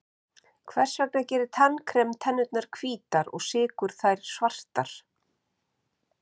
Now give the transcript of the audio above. hvers vegna gerir tannkrem tennurnar hvítar og sykur þær svartar